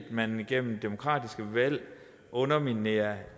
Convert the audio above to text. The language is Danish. man gennem demokratiske valg underminerer